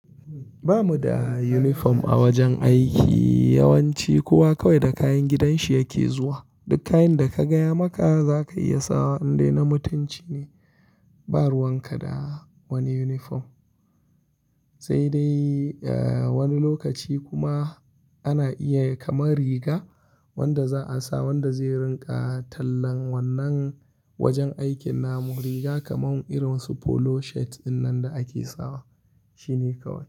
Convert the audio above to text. Ba mu da uniform a wajen aiki, yawanci kuwa kawai da kayan gidanshi yake zuwa. Duk kayan da ka gaya maka za ka iya sawa, indai na mutunci ne ba ruwan ka da wani uniform. Sai dai, eh, wani lokaci kuma ana iya kamar riga wanda za a sa wanda zai rinƙa tallan wannan wajen aikin namu. Riga kamar irin wasu polo shirts dinnan da ake sawa, shine kawai.